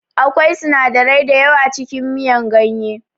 Akwai sinadarai dayawa cikin miyar ganye